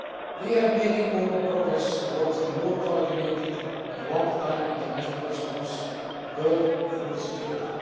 We have made important progress towards a more coordinated and long term international response to world food security.